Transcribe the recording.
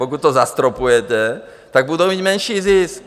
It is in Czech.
Pokud to zastropujete, tak budou mít menší zisk.